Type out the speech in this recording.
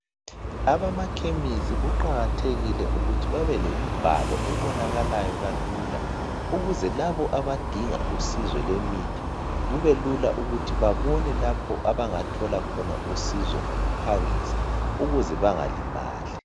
Abamakhemisi kuqakathekile ukuthi babe lemibhalo ebonakalayo kalula ukuze labo abadinga uncedo lwemithi kubelula ukuthi babone lapho abangathola khona uncedo ngokuphangisa ukuze bangalimali.